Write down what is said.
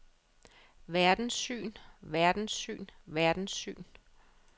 verdenssyn verdenssyn verdenssyn